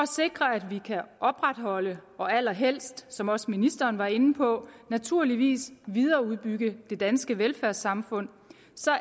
sikre at vi kan opretholde og allerhelst som også ministeren var inde på naturligvis videreudbygge det danske velfærdssamfund